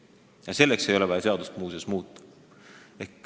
Muuseas, selleks ei ole vaja seadust muuta.